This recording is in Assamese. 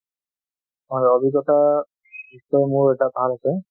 হয় অভিজ্ঞতা, নিশ্চয় মোৰ এটা ভাল আছে